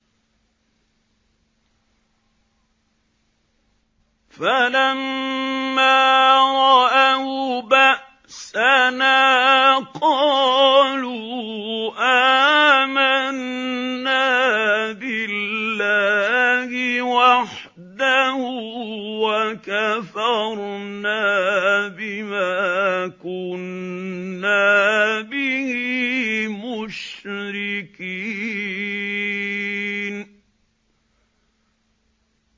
فَلَمَّا رَأَوْا بَأْسَنَا قَالُوا آمَنَّا بِاللَّهِ وَحْدَهُ وَكَفَرْنَا بِمَا كُنَّا بِهِ مُشْرِكِينَ